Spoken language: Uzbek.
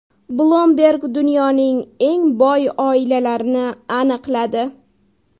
Bloomberg dunyoning eng boy oilalarini aniqladi.